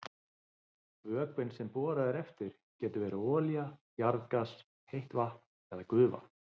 Vökvinn sem borað er eftir getur verið olía, jarðgas, heitt vatn eða gufa.